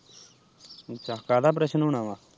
ਅੱਛਾ ਕਾਹਦਾ ਓਪਰੇਸ਼ਨ ਹੁਣਾ ਵਾ।